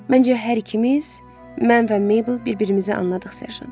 Məncə hər ikimiz, mən və Mabel bir-birimizi anladıq, serjant.